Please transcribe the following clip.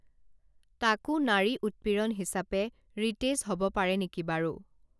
তাকো নাৰী উৎপীড়ন হিচাপে ৰিতেশ হব পাৰে নেকি বাৰু